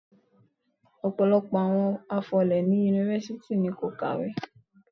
Ọ̀pọ̀lọpọ̀ àwọn afọlé ní Yunifásítì ni kò kàwé.